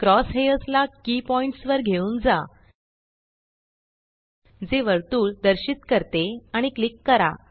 cross hairs ला की points वर घेऊन जा जे वर्तुळ दर्शित करते आणि क्लिक करा